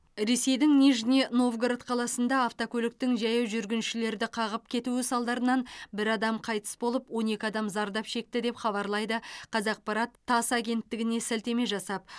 ресейдің нижний новгород қаласында автокөліктің жаяу жүргіншілерді қағып кетуі салдарынан бір адам қайтыс болып он екі адам зардап шекті деп хабарлайды қазақпарат тасс агенттігіне сілтеме жасап